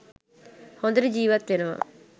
හොඳට ජීවත් වෙනවා.